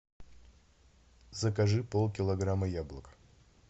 закажи пол килограмма яблок